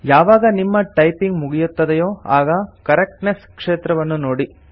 ಯಾವಾಗ ನಿಮ್ಮ ಟೈಪಿಂಗ್ ಮುಗಿಯುತ್ತದೆಯೊ ಆಗ ಕರೆಕ್ಟ್ನೆಸ್ ಕ್ಷೇತ್ರವನ್ನು ನೋಡಿ